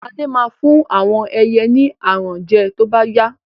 Lade ma fún àwọn ẹyẹ ni aràn jẹ to bá yá